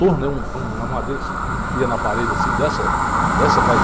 Torno é um é um, é uma madeira que se enfia na parede, assim, dessa.